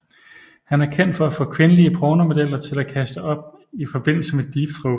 Han er kendt for at få kvindelige pornomodeller til at kaste op i forbindelse med deep throat